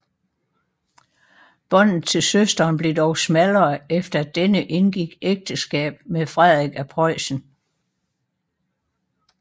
Båndet til søsteren blev dog smallere efter at denne indgik ægteskab med Friedrich af Preussen